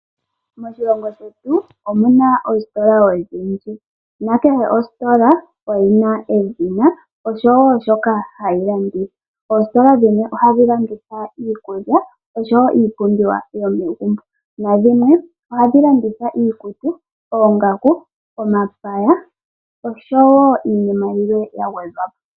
Moshilongo shetu omu na oositola odhindji. Na kehe ositola oyi na edhina oshowo shoka hayi landitha. Oositola dhimwe ohadhi landithwa iikulya oshowo iipumbiwa yomegumbo. Na dhimwe ohadhi landitha iikutu, oongaku, omapaya oshowo iinima yilwe ya gwedhwa po.